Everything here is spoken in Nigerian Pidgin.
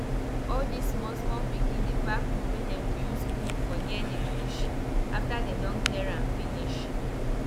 e like start early before price go fall for go fall for middle of season na sense wey e get be that.